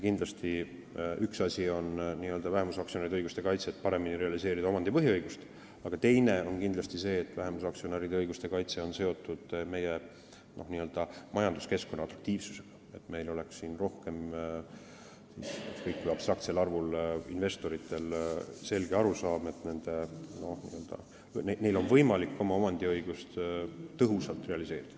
Kindlasti on üks asi vähemusaktsionäride õiguste kaitset paremini realiseerida omandi põhiõigustega, aga teine asi on see, et vähemusaktsionäride õiguste kaitse on seotud meie majanduskeskkonna atraktiivsusega, sellega, et rohkematel investoritel oleks selge arusaam, et neil on võimalik oma omandiõigust tõhusalt realiseerida.